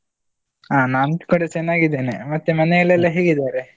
ಹ ನಾನ್ ಕೂಡ ಚನ್ನಾಗಿದ್ದೇನೆ, ಮತ್ತೆ ಮನೆಯಲ್ಲೆಲ್ಲಾ ಹೇಗಿದ್ದಾರೆ?